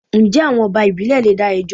Njẹ́ àwọn ọba ìbílè leè dá ẹjọ́?